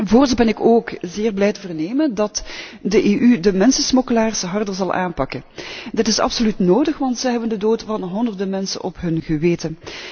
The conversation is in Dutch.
Voorts ben ik ook zeer blij te vernemen dat de EU de mensensmokkelaars harder zal aanpakken. Dit is absoluut nodig, want ze hebben de dood van honderden mensen op hun geweten.